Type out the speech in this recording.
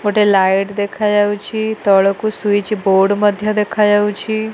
ଗୋଟେ ଲାଇଟ ଦେଖାଯାଉଚି ତଳକୁ ସୁଇଚ ବୋଡ଼ ମଧ୍ୟ ଦେଖାଯାଉଚି ।